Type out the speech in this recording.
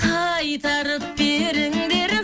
қайтарып беріңдер